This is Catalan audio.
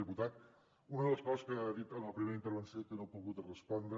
diputat una de les coses que ha dit en la primera intervenció i que no he pogut respondre